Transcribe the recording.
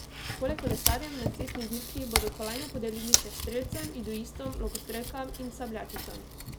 Poleg kolesarjem na cestni dirki bodo kolajne podelili še strelcem, judoistom, lokostrelkam in sabljačicam.